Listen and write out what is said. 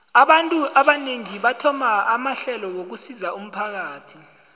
abantu abanengi bathoma amahlelo wokusizo umphakathi